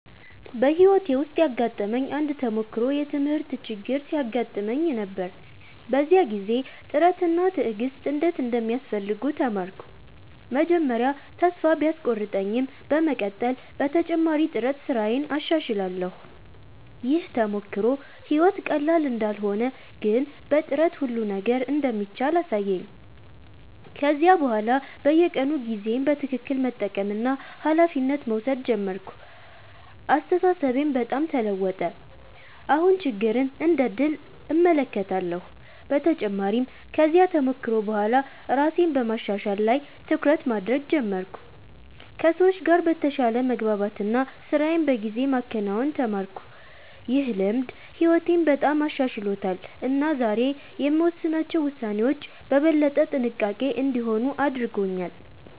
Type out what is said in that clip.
በሕይወቴ ውስጥ ያጋጠመኝ አንድ ተሞክሮ የትምህርት ችግር ሲያጋጥመኝ ነበር። በዚያ ጊዜ ጥረት እና ትዕግሥት እንዴት እንደሚያስፈልጉ ተማርኩ። መጀመሪያ ተስፋ ቢቆርጠኝም በመቀጠል በተጨማሪ ጥረት ስራዬን አሻሽላለሁ። ይህ ተሞክሮ ሕይወት ቀላል እንዳልሆነ ግን በጥረት ሁሉ ነገር እንደሚቻል አሳየኝ። ከዚያ በኋላ በየቀኑ ጊዜዬን በትክክል መጠቀምና ኃላፊነት መውሰድ ጀመርኩ። አስተሳሰቤም በጣም ተለወጠ፤ አሁን ችግርን እንደ ዕድል እመለከታለሁ። በተጨማሪም ከዚያ ተሞክሮ በኋላ ራሴን በማሻሻል ላይ ትኩረት ማድረግ ጀመርኩ፣ ከሰዎች ጋር በተሻለ መግባባት እና ስራዬን በጊዜ ማከናወን ተማርኩ። ይህ ልምድ ሕይወቴን በጣም አሻሽሎታል እና ዛሬ የምወስናቸው ውሳኔዎች በበለጠ ጥንቃቄ እንዲሆኑ አድርጎኛል።